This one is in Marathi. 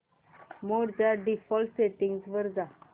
मोड च्या डिफॉल्ट सेटिंग्ज वर जा